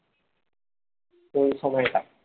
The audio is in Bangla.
কোন সময়টা